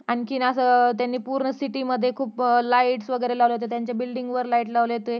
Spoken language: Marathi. अं आणखी असं त्यांनी पूर्ण city मध्ये खुप light वैगरे लावले होते त्यांच्या bullding वर light लावले होते